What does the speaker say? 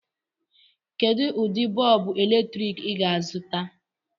Kedu ụdị bọọbụ eletrik ị ga-azụta?